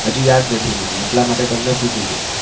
હજુ યાદ નથી મને એટલા માટે તમને પુછુ છુ